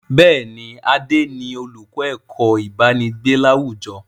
Bẹ́ẹ̀ni, Adé ni olùkọ́ ẹ̀kọ́ ibanigbe láwùjọ.